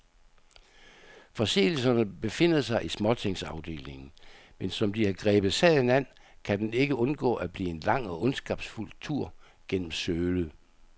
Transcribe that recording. Forseelserne befinder sig i småtingsafdelingen, men som de har grebet sagen an, kan den ikke undgå at blive en lang og ondskabsfuld tur gennem sølet.